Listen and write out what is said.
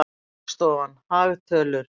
Hagstofan- hagtölur.